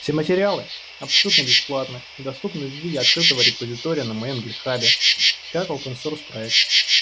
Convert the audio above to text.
все материалы абсолютно бесплатны и доступны в виде открытого репозитория на моем гитхабе как вам сурс проект